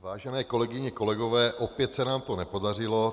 Vážené kolegyně, kolegové, opět se nám to nepodařilo.